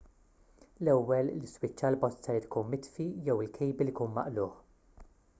l-ewwel l-iswiċċ għall-bozza jrid ikun mitfi jew il-kejbil ikun maqlugħ